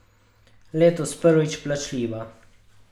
Letos prvič plačljiva.